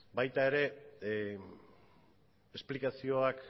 baita ere esplikazioak